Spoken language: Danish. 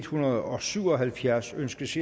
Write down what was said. hundrede og syv og halvfjerds ønskes